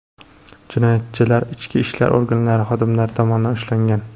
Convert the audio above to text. Jinoyatchilar ichki ishlar organlari xodimlari tomonidan ushlangan.